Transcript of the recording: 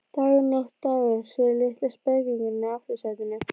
Dagur, nótt, dagur, segir litli spekingurinn í aftursætinu.